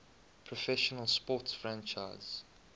professional sports franchise